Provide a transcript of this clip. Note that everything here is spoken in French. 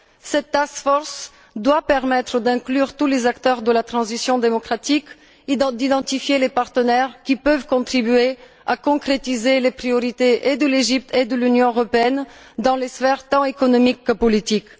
Cette task force doit permettre d'inclure tous les acteurs de la transition démocratique et d'identifier les partenaires qui peuvent contribuer à concrétiser les priorités, à la fois, de l'Égypte et de l'Union européenne dans les sphères tant économiques que politiques.